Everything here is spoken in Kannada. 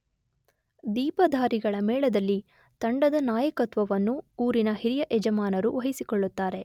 ದೀಪಧಾರಿಗಳ ಮೇಳದಲ್ಲಿ ತಂಡದ ನಾಯಕತ್ವವನ್ನು ಊರಿನ ಹಿರಿಯ ಯಜಮಾನರು ವಹಿಸಿಕೊಳ್ಳುತ್ತಾರೆ.